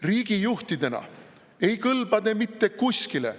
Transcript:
Riigi juhtidena ei kõlba te mitte kuskile.